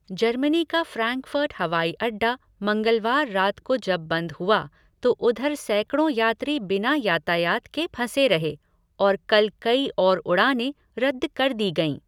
Germany का Frankfurt हवाईअड्डा मंगलवार रात को जब बंद हुआ तो उधर सैकड़ों यात्री बिना यातायात के फंसे रहे और कल कई और उड़ानें रद्द कर दी गईं।